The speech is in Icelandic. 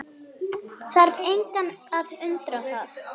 Þarf engan að undra það.